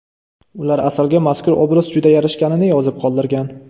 Ular Asalga mazkur obraz juda yarashganini yozib qoldirgan.